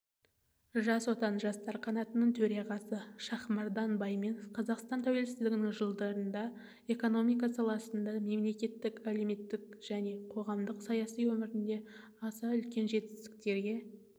жас отан жастар қанатының төрағасы шахмардан байманов қазақстан тәуелсіздік жылдарында экономика саласында мемлекеттік әлеуметтік және қоғамдық саяси өмірінде аса үлкен жетістіктерге